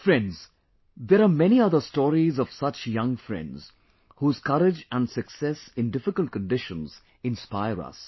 Friends, there are many other stories of such young friends whose courage and success in difficult conditions inspire us